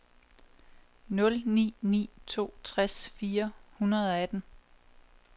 nul ni ni to tres fire hundrede og atten